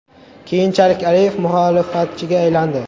Keyinchalik Aliyev muxolifatchiga aylandi.